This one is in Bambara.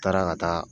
N taara ka taa